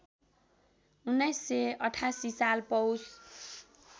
१९८८ साल पौष